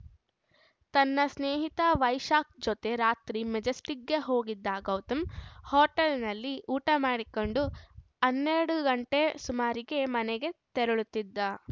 ತನ್ನ ಸ್ನೇಹಿತ ವೈಶಾಖ್‌ ಜತೆ ರಾತ್ರಿ ಮೆಜೆಸ್ಟಿಕ್‌ಗೆ ಹೋಗಿದ್ದ ಗೌತಮ್‌ ಹೋಟೆಲ್‌ನಲ್ಲಿ ಊಟ ಮಾಡಿಕೊಂಡು ಹನ್ನೆರಡು ಗಂಟೆ ಸುಮಾರಿಗೆ ಮನೆಗೆ ತೆರಳುತ್ತಿದ